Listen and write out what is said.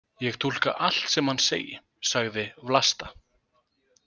Ég túlka allt sem hann segi, sagði Vlasta.